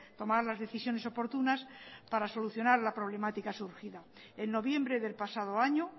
tomar las decisiones oportunas para solucionar la problemática surgida en noviembre del pasado año